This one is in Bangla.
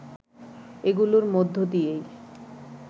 এগুলোর মধ্য দিয়েই